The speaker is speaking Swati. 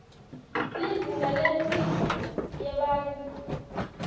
lizinga lemphilo yebantfu